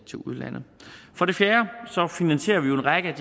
udlandet for det fjerde finansierer vi jo en række